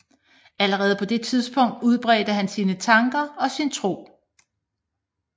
Allerede på det tidspunkt udbredte han sine tanker og sin tro